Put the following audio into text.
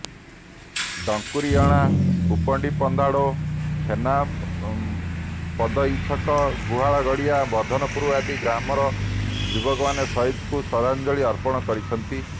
ଡଙ୍କୁରୀ ଅଣା କପୁଣ୍ଡୀ ପନ୍ଦାଡୋ ଛେନାପଦଇଛକ ଗୁହାଳଗଡିଆ ବର୍ଦ୍ଧନପୁର ଆଦି ଗ୍ରାମର ଯୁବକମାନେ ସହିଦଙ୍କୁ ଶ୍ରଦ୍ଧାଞ୍ଜଳୀ ଅର୍ପଣ କରିଛନ୍ତି